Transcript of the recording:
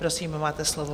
Prosím, máte slovo.